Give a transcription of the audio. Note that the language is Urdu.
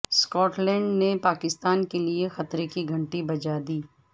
اسکاٹ لینڈ نے پاکستان کے لیے خطرے کی گھنٹی بجا دی